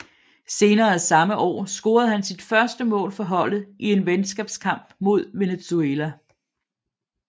Senere samme år scorede han sit første mål for holdet i en venskabskamp mod Venezuela